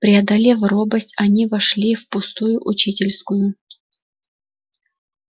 преодолев робость они вошли в пустую учительскую